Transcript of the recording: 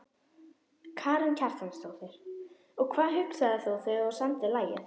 Karen Kjartansdóttir: Og hvað hugsaðir þú þegar þú samdir lagið?